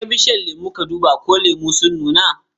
Jeka bishiyar lemu ka duba ko lemu sun nuna.